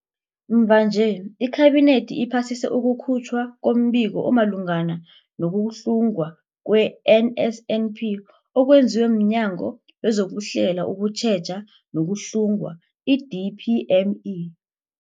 Mvanje, iKhabinethi iphasise ukukhutjhwa kombiko omalungana no-kuhlungwa kwe-NSNP okwenziwe mNyango wezokuHlela, ukuTjheja nokuHlunga, i-DPME.